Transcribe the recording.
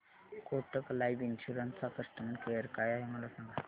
Kotak life insurance चा customer care काय आहे मला सांगा